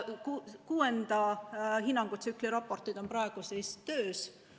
Kuuenda hinnangutsükli raportid on praegu töös.